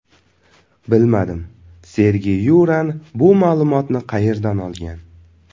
Bilmadim, Sergey Yuran bu ma’lumotni qayerdan olgan.